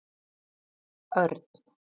Örn